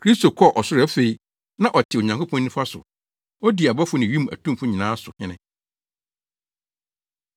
Kristo kɔ ɔsoro afei, na ɔte Onyankopɔn nifa so na odi abɔfo ne wim atumfo nyinaa so hene.